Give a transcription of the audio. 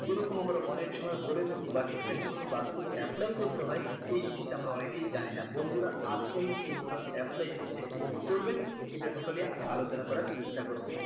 এরকম আমরা অনেকসময় বলে থাকি but সেটা কিভাবে বাস্তবে apply করতে হয় এই জিনিসটা আমরা অনেকেই জানি না বন্ধুরা আজকে আমি এই total apply জিনিষটা কিভাবে করবেন এটা totally আলোচনা করার চেষ্টা করবো